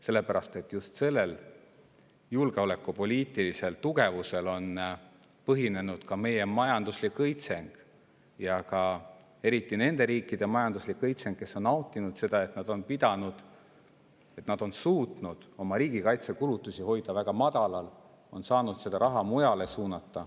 Sellepärast, et just sellel julgeolekupoliitilisel tugevusel on põhinenud meie majanduslik õitseng ja eriti nende riikide majanduslik õitseng, kes on nautinud seda, et nad on suutnud hoida oma riigikaitsekulutusi väga madalal ja saanud suunata seda raha mujale.